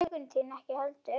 Huggun þín ekki heldur.